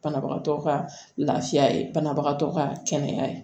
Banabagatɔ ka lafiya ye banabagatɔ ka kɛnɛya ye